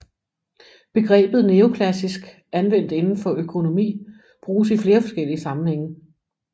Begrebet neoklassisk anvendt inden for økonomi bruges i flere forskellige sammenhænge